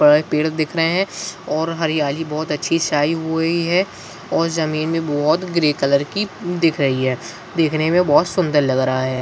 पर पेड़ दिख रहे हैं और हरियाली बहुत अच्छी सी आई हुई है और जमीन भी बहुत ग्रे कलर की दिख रही है देखने में बहुत सुन्दर लग रहा है।